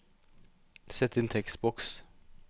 Sett inn tekstboks